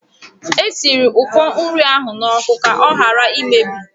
Esiri ụfọ nri ahụ n'oku ka ọ hara imebi.